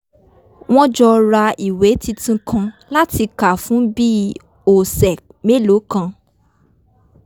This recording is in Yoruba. wọ́n jọ ra ìwé tuntun kan láti kà fún bí òsẹ̀ melòó kan